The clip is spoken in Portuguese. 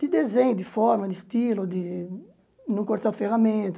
de desenho, de forma, de estilo, de não cortar